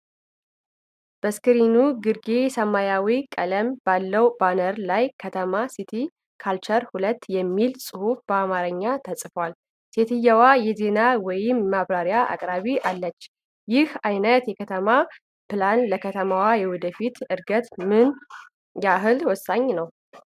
በስክሪኑ ግርጌ ሰማያዊ ቀለም ባለው ባነር ላይ “ከተማ ሲቲ ካልቸር 2” የሚል ጽሑፍ በአማርኛ ተጽፏል፤ ሴትየዋ የዜና ወይም የማብራሪያ አቅራቢ አለች። ይህ አይነቱ የከተማ ፕላን ለከተማዋ የወደፊት ዕድገት ምን ያህል ወሳኝ ነው?